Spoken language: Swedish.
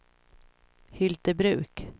Hyltebruk